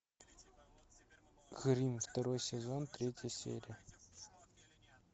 гримм второй сезон третья серия